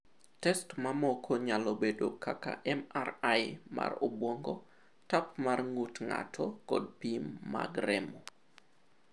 Test mamoko nyalo bedo kaka MRI mar obwongo, tap mar ng’ut ng’ato kod pim mag remo.